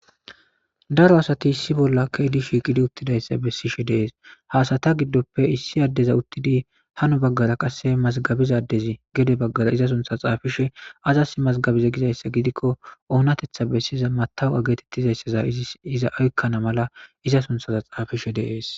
Daro asati issi bolla ke'idi shiiqidi utidaysa besishe de'es, ha asata gidoppe issi adeza utidi hano bagara qase mazigabiza adezi gede bagara iza suntha xaafishe aazasi mazigabize gizaysa gidikoni onatetha besiza metawoqiya getetizaysa iza oykana mala iza sunthaza xaafishe de'esi.